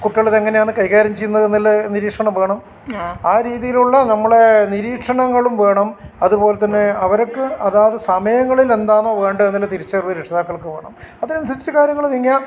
കുട്ടികളെ ഇത് എങ്ങിനെയാണ് കൈകാര്യം ചെയ്യുന്നത് എന്നുള്ളത് നിരീക്ഷണം വേണം ആ രീതിയിലുള്ള നമ്മളെ നിരീക്ഷണങ്ങളും വേണം അതുപോലെ തന്നെ അവർക്ക് അതാത് സമയങ്ങളിൽ എന്താണോ വേണ്ടത് എന്നുള്ള തിരിച്ചറിവ് രക്ഷിതാക്കൾക് വേണം അതിനനുസരിച്ചിട്ട് കാര്യങ്ങൾ നീങ്ങിയാൽ നമുക്ക്